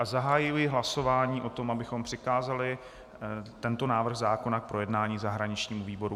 A zahajuji hlasování o tom, abychom přikázali tento návrh zákona k projednání zahraničnímu výboru.